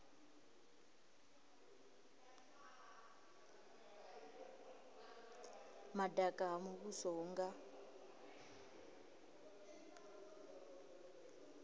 madaka ha muvhuso hu nga